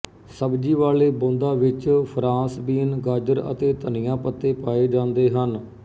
ਸਬਜੀ ਵਾਲੇ ਬੋੰਦਾ ਵਿੱਚ ਫ੍ਰਾਂਸ ਬੀਨ ਗਾਜਰ ਅਤੇ ਧਨੀਆ ਪੱਤੇ ਪਾਏ ਜਾਂਦੇ ਹਨ